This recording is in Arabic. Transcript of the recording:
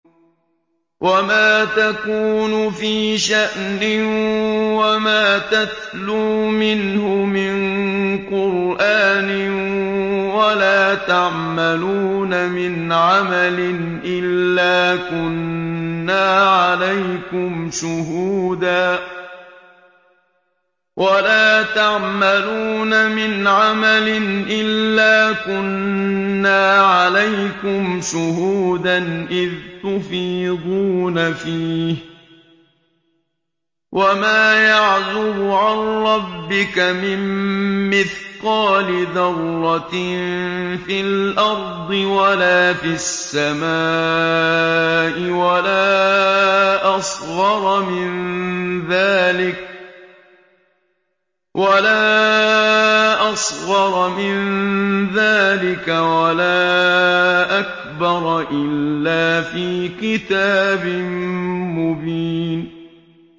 وَمَا تَكُونُ فِي شَأْنٍ وَمَا تَتْلُو مِنْهُ مِن قُرْآنٍ وَلَا تَعْمَلُونَ مِنْ عَمَلٍ إِلَّا كُنَّا عَلَيْكُمْ شُهُودًا إِذْ تُفِيضُونَ فِيهِ ۚ وَمَا يَعْزُبُ عَن رَّبِّكَ مِن مِّثْقَالِ ذَرَّةٍ فِي الْأَرْضِ وَلَا فِي السَّمَاءِ وَلَا أَصْغَرَ مِن ذَٰلِكَ وَلَا أَكْبَرَ إِلَّا فِي كِتَابٍ مُّبِينٍ